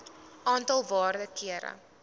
aantal waarde kere